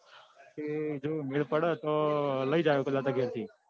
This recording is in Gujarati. એ જો મેલ પડે તો લઇ જઈસ પેલા તાર ઘરે થી.